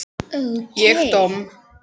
Ég domm?